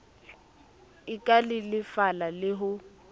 e ka lelefala le ho